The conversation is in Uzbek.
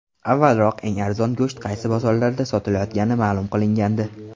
Avvalroq eng arzon go‘sht qaysi bozorlarda sotilayotgani ma’lum qilingandi .